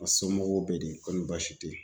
A somɔgɔw bɛ di koni baasi te yen.